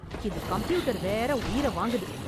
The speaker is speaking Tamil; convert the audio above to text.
இந்தக் கம்ப்யூட்டர் வேற உயிர வாங்குது!